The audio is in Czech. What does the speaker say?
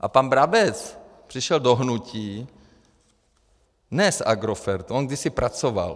A pan Brabec přišel do hnutí ne z Agrofertu, on kdysi pracoval.